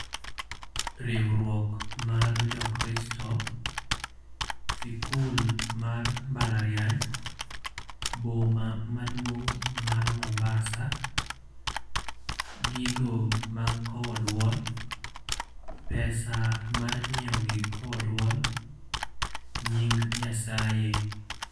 Riwruok mar jokristo, sikul mar mbalariany. Boma maduong' mar Mombasa. Gigo mag kowo duol. Pesa mar nyiewo gik kowo duol. Nying Nyasaye.